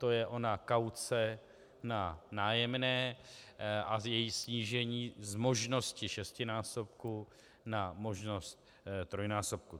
To je ona kauce na nájemné a její snížení z možnosti šestinásobku na možnost trojnásobku.